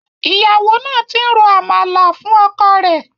Ìyàwó náà ti ń ro Àmàlà fún ọkọ rẹ̀.